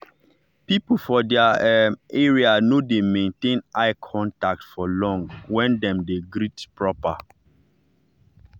people for their um area no dey maintain eye contact for long when dem dey greet proper.